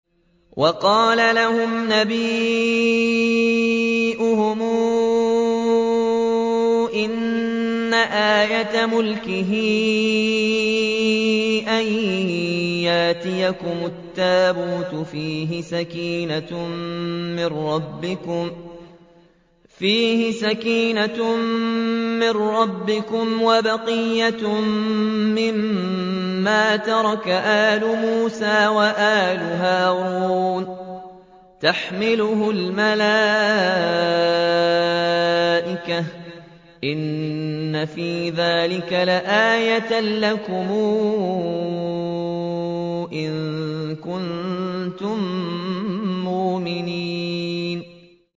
وَقَالَ لَهُمْ نَبِيُّهُمْ إِنَّ آيَةَ مُلْكِهِ أَن يَأْتِيَكُمُ التَّابُوتُ فِيهِ سَكِينَةٌ مِّن رَّبِّكُمْ وَبَقِيَّةٌ مِّمَّا تَرَكَ آلُ مُوسَىٰ وَآلُ هَارُونَ تَحْمِلُهُ الْمَلَائِكَةُ ۚ إِنَّ فِي ذَٰلِكَ لَآيَةً لَّكُمْ إِن كُنتُم مُّؤْمِنِينَ